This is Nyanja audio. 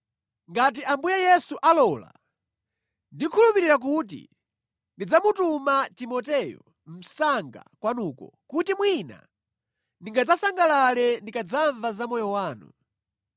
Ngati Ambuye Yesu alola, ndikukhulupirira kuti ndidzamutuma Timoteyo msanga kwanuko, kuti mwina ndingadzasangalale ndikadzamva za moyo wanu.